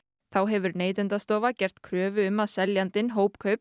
þá hefur Neytendastofa gert kröfu um að seljandinn